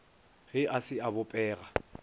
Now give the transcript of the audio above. ge a se a bopega